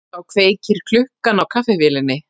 Þá kveikir klukkan á kaffivélinni